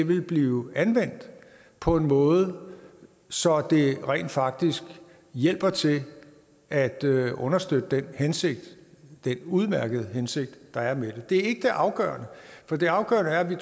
vil blive anvendt på en måde så det rent faktisk hjælper til at understøtte den hensigt den udmærkede hensigt der er med det er ikke det afgørende for det afgørende er at vi